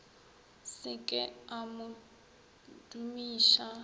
se ke a mo dumiša